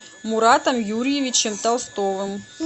муратом юрьевичем толстовым